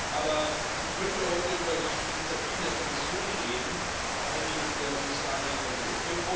Aber ich möchte heute über die Initiativen der Kommission reden, vor allen Dingen in der sozialen Dimension.